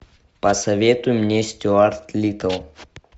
посоветуй мне стюарт литтл